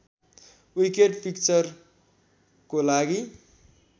wicked पिक्चरको लागि